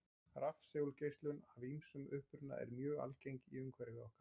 Rafsegulgeislun af ýmsum uppruna er mjög algeng í umhverfi okkar.